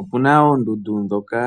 Opena oondundu dhoka